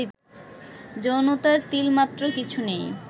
যৌনতার তিলমাত্র কিছু নেই